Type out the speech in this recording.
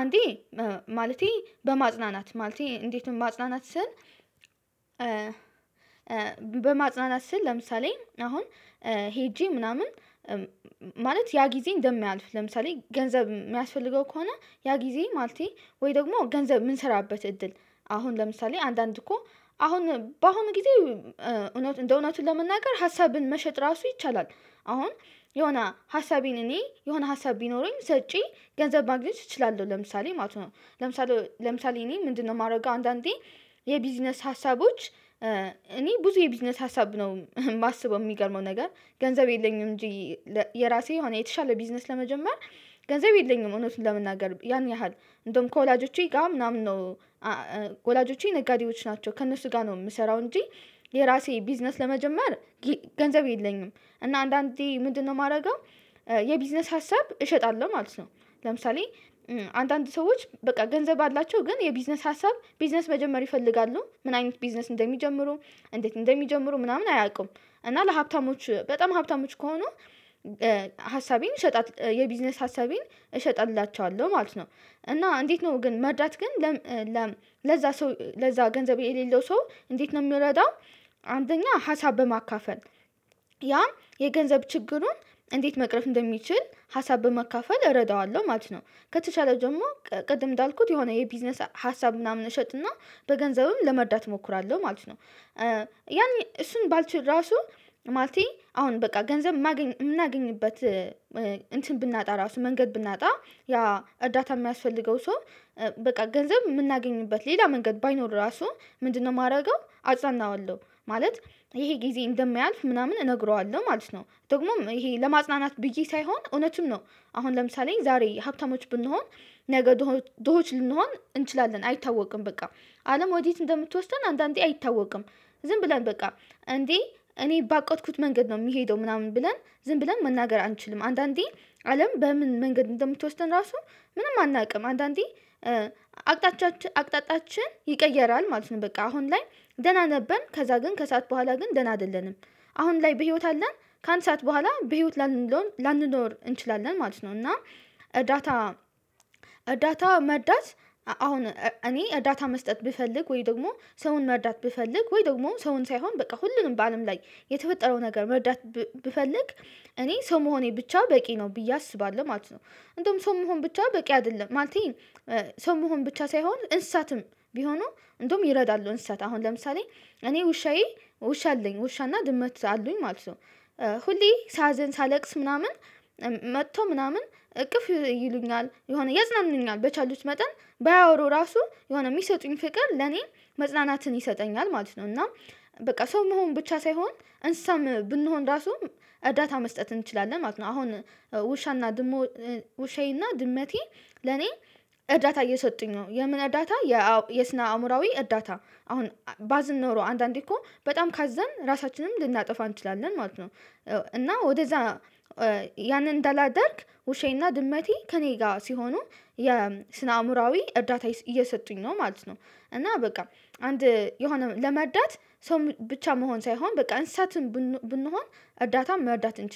አንዴ ማለቴ በማጽናናት ማለቴ እንዴትም ማጽናናት ስል። በማጽናናት ስል ለምሳሌ አሁን ሄጄ ምናምን ማለት ያ ጊዜ እንደሚያልፍ ለምሳሌ ገንዘብ የሚያስፈልገው ከሆነ ያ ጊዜ ማለቴ ወይ ደግሞ ገንዘብ ምንሰራበት እድል። አሁን ለምሳሌ አንዳንድ እኮ አሁን በአሁኑ ጊዜ እውነት እንደ እውነቱ ለመናገር ሀሳብን መሸጥ ራሱ ይቻላል። አሁን የሆነ ሀሳቤን እኔ የሆነ ሀሳብ ቢኖረኝ ሸጬ ገንዘብ ማግኘት እችላለሁ። ለምሳሌ ማለት ነው። ለምሳሌ ለምሳሌ እኔ ምንድነው የማደርገው? አንዳንዴ የቢዝነስ ሀሳቦች እኔ ብዙ የቢዝነስ ሀሳብ ነው የማስበው የሚገርመው ነገር። ገንዘብ የለኝም እንጂ የራሴ የሆነ የተሻለ ቢዝነስ ለመጀመር ገንዘብ የለኝም እውነቱን ለመናገር ያን ያህል እንደውም ከወላጆቼ ጋር ምናምን ነው። ወላጆቼ ነጋዴዎች ናቸው ከእነሱ ጋር ነው የምሰራው። እንጂ የራሴ ቢዝነስ ለመጀመር ገንዘብ የለኝም። እና አንዳንዴ ምንድነው የማደርገው? የቢዝነስ ሀሳብ እሸጣለሁ ማለት ነው። ለምሳሌ አንዳንድ ሰዎች በቃ ገንዘብ አላቸው ግን የቢዝነስ ሀሳብ ቢዝነስ መጀመር ይፈልጋሉ ምን አይነት ቢዝነስ እንደሚጀምሩ? እንዴት እንደሚጀምሩ ምናምን አያውቁም። እና ለሀብታሞች በጣም ሀብታሞች ከሆኑ ሀሳቤን እሸጣለሁ የቢዝነስ ሀሳቤን እሸጥላቸዋልው ማለት ነው። እና እንዴት ነው ግን መርዳት ግን? ለዛ ሰው ለዛ ገንዘብ የሌለው ሰው እንዴት ነው የምንረዳው? አንደኛ ሀሳብ በማካፈል ያም የገንዘብ ችግሩን እንዴት መቅረፍ እንደሚችል ሀሳብ በማካፈል እረዳዋለሁ ማለት ነው። ከተቻለ ጀምሮ ቅድም እንዳልኩት የሆነ የቢዝነስ ሀሳብ ምናምን እሸጥና በገንዘብም ለመርዳት እሞክራለሁ ማለት ነው። ያን እሱን ባልችል ራሱ ማለቴ አሁን በቃ ገንዘብ ማገኝ የምናገኝበት። እንትን ብናጣ ራሱ መንገድ ብናጣ። ያ እርዳታ የሚያስፈልገው ሰው በቃ ገንዘብ የምናገኝበት ሌላ መንገድ ባይኖር ራሱ ምንድነው የማደርገው አጽናናዋለው። ማለት ይሄ ጊዜ እንደሚያልፍ ምናምን እነግረዋለሁ ማለት ነው። ደግሞም ይሄ ለማጽናናት ብዬ ሳይሆን እውነትም ነው። አሁን ለምሳሌ ዛሬ ሀብታሞች ብንሆን ነገ ድሆች ልንሆን እንችላለን አይታወቅም በቃ አለም ወዴት እንደምትወስደን አንዳንዴ አይታወቅም። ዝም ብለን በቃ እንዴ እኔ ባቆጥኩት መንገድ ነው የሚሄደው ምናምን ብለን ዝም ብለን መናገር አንችልም። አንዳንዴ አለም በምን መንገድ እንደምትወስደን ራሱ ምንም አናውቅም አንዳንዴ። አቅጣጫችን ይቀየራል ማለት ነው። በቃ አሁን ላይ ደህና ነበርን ከዛ ግን ከሰአት በኋላ ግን ደህና አይደለንም። አሁን ላይ በህይወት አለን። ከአንድ ሰዓት በኋላ በህይወት ላንኖር እንችላለን ማለት ነው። እና እርዳታ እርዳታ መርዳት አሁን እኔ ዳታ መስጠት ብፈልግ ወይ ደግሞ ሰውን መርዳት ብፈልግ ወይ ደግሞ ሰውን ሳይሆን በቃ ሁሉንም በአለም ላይ የተፈጠረው ነገር መርዳት ብፈልግ እኔ ሰው መሆኔ ብቻ በቂ ነው ብዬ አስባለሁ ማለት ነው። እንደውም ሰው መሆን ብቻ በቂ አይደለም ማለቴ። ሰው መሆን ብቻ ሳይሆን እንስሳትም ቢሆኑ እንደውም ይረዳሉ እንስሳት አሁን ለምሳሌ እኔ ውሻዬ ውሻ አለኝ ውሻና ድመት አሉኝ ማለት ነው። ሁሌ ሳዘን ሳለቅስ ምናምን መጥቶ ምናምን እቅፍ ይሉኛል የሆነ ያጽናኑኛል በቻሉት መጠን ባያወሩ ራሱ የሆነ የሚሰጡኝ ፍቅር ለኔ መጽናናትን ይሰጠኛል ማለት ነው። እና በቃ ሰው መሆን ብቻ ሳይሆን እንስሳም ብንሆን ራሱ እርዳታ መስጠት እንችላለን ማለት ነው። አሁን ውሻና ድመው ውሻዬና ድመቴ ለኔ እርዳታ እየሰጡኝ ነው የምን እዳታ? የስና አእምሮአዊ እዳታ አሁን ባዝን ኖሮ አንዳንዴ እኮ በጣም ካዘን ራሳችንንም ልናጠፋ እንችላለን ማለት ነው። እና ወደዛ ያንን እንዳላደርግ ውሻዬና ድመቴ ከእኔ ጋር ሲሆኑ የስነ አእምሮአዊ እርዳታ እየሰጡኝ ነው ማለት ነው። እና በቃ አንድ የሆነ ለመርዳት ሰው ብቻ መሆን ሳይሆን በቃ እንስሳትም ብንሆን እርዳታም መርዳት እንችል